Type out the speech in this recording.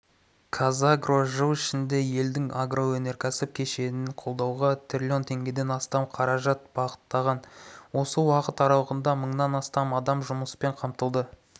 қазагро жыл ішінде елдің агроөнеркәсіп кешенін қолдауға трлн теңгеден астам қаражат бағыттаған осы уақыт аралығында мыңнан астам адам жұмыспен қамтылды